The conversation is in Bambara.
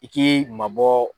I k'i mabɔ